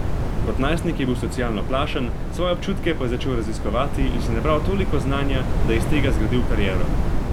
Kot najstnik je bil socialno plašen, svoje občutke pa je začel raziskovati in si nabral toliko znanja, da je iz tega zgradil kariero.